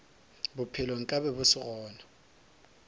bophelo nkabe bo se gona